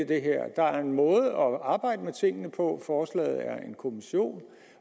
det her der er en måde at arbejde med tingene på forslaget er en kommission